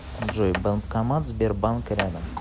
джой банкомат сбербанк рядом